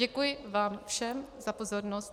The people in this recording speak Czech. Děkuji vám všem za pozornost.